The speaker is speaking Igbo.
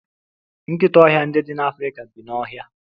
Nkịta ọhịa ndị dị n'Afrika bi n'ọhịa.